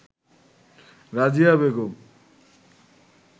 Razia Begum